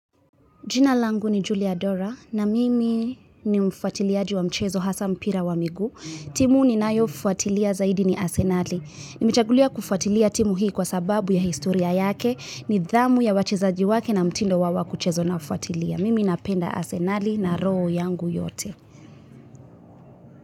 Jina langu ni Julia Dora na mimi ni mfuatiliaji wa mchezo hasa mpira wa miguu. Timu ni nayo fuatilia zaidi ni Arsenali. Nimechagulia kufuatilia timu hii kwa sababu ya historia yake. Nidhamu ya wachezajiwake na mtindo wao wa kucheza na ufuatilia. Mimi na penda Arsenali na roho yangu yote.